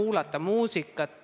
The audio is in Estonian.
Oleme pakkunud selliseid lähenemisi.